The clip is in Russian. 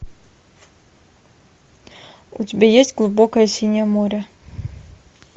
у тебя есть глубокое синее море